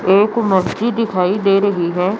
एक मछली दिखाई दे रही है।